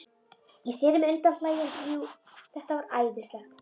Ég sneri mér undan hlæjandi, jú, þetta var æðislegt.